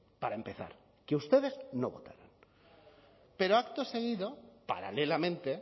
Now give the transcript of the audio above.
para empezar que ustedes no votaron pero acto seguido paralelamente